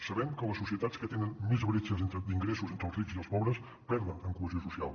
sabem que les societats que tenen més bretxes d’ingressos entre els rics i els pobres perden en cohesió social